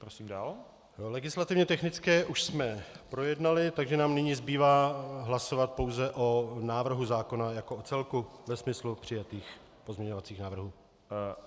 Legislativně technické už jsme projednali, takže nám nyní zbývá hlasovat pouze o návrhu zákona jako o celku ve smyslu přijatých pozměňovacích návrhů.